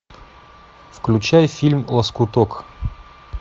включай фильм лоскуток